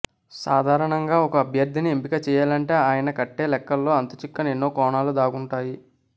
సాధారణంగా ఒక అభ్యర్థిని ఎంపిక చేయాలంటే ఆయన కట్టే లెక్కల్లో అంతుచిక్కని ఎన్నో కోణాలు దాగుంటాయి